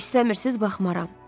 İstəmirsiz, baxmaram.